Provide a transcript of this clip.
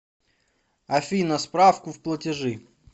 афина справку в платежи